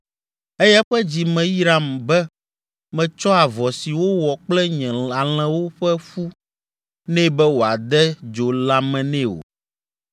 eye eƒe dzi meyram be metsɔ avɔ si wowɔ kple nye alẽwo ƒe fu nɛ be wòade dzo lãme nɛ o,